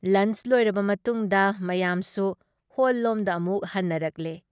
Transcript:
Lunch ꯂꯣꯏꯔꯕ ꯃꯇꯨꯡꯗ ꯃꯌꯥꯝꯁꯨ ꯍꯣꯜꯂꯣꯝꯗ ꯑꯃꯨꯛ ꯍꯟꯅꯔꯛꯂꯦ ꯫